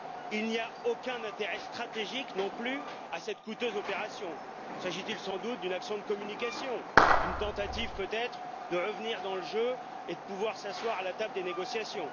Il n'y a aucun intérêt stratégique non plus à cette coûteuse opération. S'agit il sans doute d'une action de communication, d'une tentative, peut être, de revenir dans le jeu et de pouvoir s'asseoir à la table des négociations?